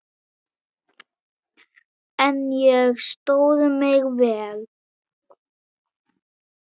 En ég stóð mig vel.